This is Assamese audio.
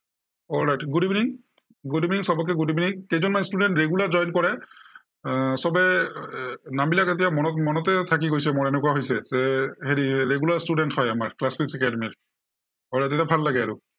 alright, good evening, good evening সৱকে good evening কেইজনমান student regular join কৰে। আহ সৱেই এৰ নামবিলাক এতিয়া মনত~মনতেই থাকি গৈছে মোৰ এনেকুৱা হৈছে। এৰ হেৰি regular student হয় আমাৰ class academy alright তেতিয়া ভাল লাগে আৰু।